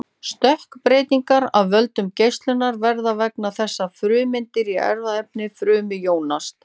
stökkbreytingar af völdum geislunar verða vegna þess að frumeindir í erfðaefni frumu jónast